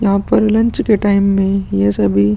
यहाँ पर लंच के टाइम में ये सभी --